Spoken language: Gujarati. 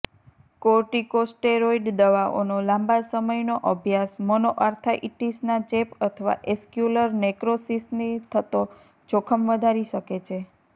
કોર્ટીકોસ્ટેરોઇડ દવાઓનો લાંબા સમયનો અભ્યાસ મોનોઅર્થ્રાઇટિસના ચેપ અથવા ઍસ્ક્યુલર નેક્રોસિસથી થતો જોખમ વધારી શકે છે